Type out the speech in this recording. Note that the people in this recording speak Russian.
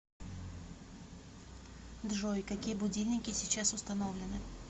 джой какие будильники сейчас установлены